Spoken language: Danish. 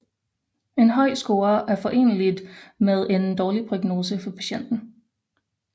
En høj score er foreneligt med en dårlig prognose for patienten